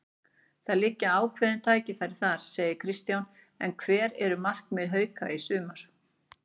Það liggja ákveðin tækifæri þar, segir Kristján en hver eru markmið Hauka í sumar?